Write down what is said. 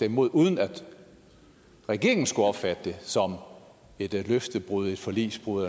imod uden at regeringen skulle opfatte det som et løftebrud et forligsbrud